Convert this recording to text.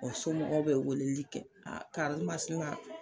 O somɔgɔ be weleli kɛ karimasina